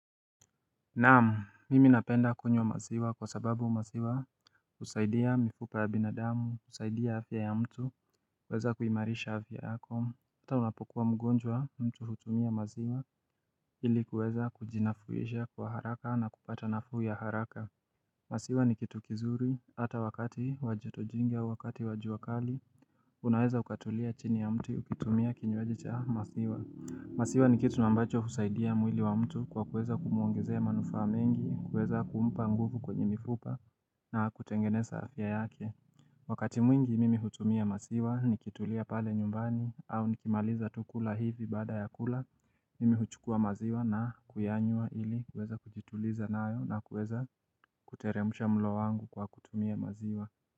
Naamu, mimi napenda kunywa maziwa kwa sababu maziwa husaidia mifupa ya binadamu, kusaidia afya ya mtu, weza kuimarisha afya yako. Mtu unapokuwa mgonjwa, mtu hutumia maziwa ili kueza kujinafuisha kwa haraka na kupata nafu ya haraka. Masiwa ni kitu kizuri, ata wakati wajotojingia, wakati wajiwakali, unaweza ukatulia chini ya mtu ukitumia kinywajicha maziwa. Masiwa ni kitu mambacho husaidia mwili wa mtu kwa kuweza kumuongezea manufa mingi, kuweza kumpa nguvu kwenye mifupa na kutengeneza afya yake Wakati mwingi mimi hutumia masiwa ni kitulia pale nyumbani au nikimaliza tu kula hivi bada ya kula Mimi huchukua maziwa na kuyanyua ili kweza kujituliza nayo na kweza kuteremsha mlo wangu kwa kutumia maziwa.